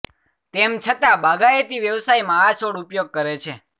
તેમ છતાં બાગાયતી વ્યવસાયમાં આ છોડ ઉપયોગ કરે છે